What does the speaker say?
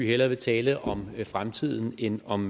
hellere vil tale om fremtiden end om